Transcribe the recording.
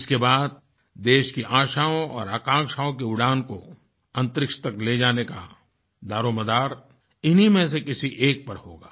इसके बाद देश की आशाओं और आकांक्षाओं की उड़ान को अंतरिक्ष तक ले जाने का दारोमदार इन्हीं में से किसी एक पर होगा